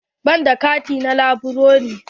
Ban da kati na laburare.